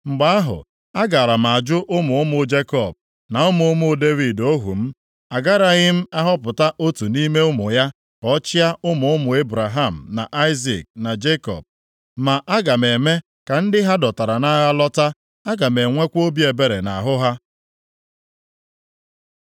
mgbe ahụ, agaara m ajụ ụmụ ụmụ Jekọb, na ụmụ ụmụ Devid ohu m. Agaraghị m ahọpụta otu nʼime ụmụ ya ka ọ chịa ụmụ ụmụ Ebraham na Aịzik na Jekọb. Ma aga m eme ka ndị ha a dọtara nʼagha lọta; aga m enwekwa obi ebere nʼahụ ha.’ ”